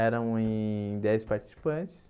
Eram em dez participantes.